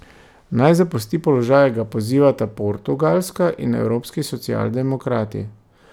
Naj zapusti položaj, ga pozivata Portugalska in evropski socialdemokrati.